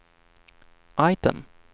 item